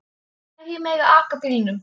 Hverjir mega aka bílnum?